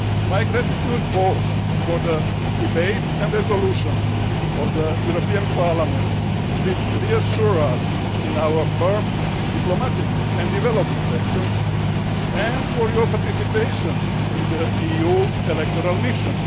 my gratitude both for the debates and for the resolutions of the European Parliament, which reassure us in our firm diplomatic and development actions, and for your participation in the EU Electoral Mission.